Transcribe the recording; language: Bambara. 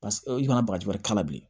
Paseke i kana bagaji wɛrɛ k'a la bilen